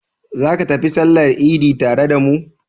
Za ka tafi sallar idi tare da mu?